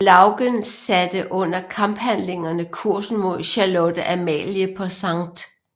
Lougen satte under kamphandlingerne kursen mod Charlotte Amalie på Skt